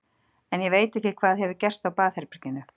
En ég veit ekki hvað hefur gerst á baðherberginu.